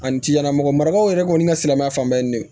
Ani ciɲɛnamɔgɔ marakaw yɛrɛ kɔni ka silamɛya fan bɛɛ ye ne